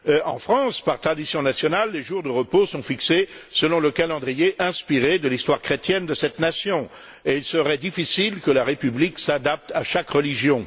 En France, par tradition nationale, les jours de repos sont fixés selon le calendrier inspiré de l'histoire chrétienne de cette nation, et il serait difficile que la République s'adapte à chaque religion.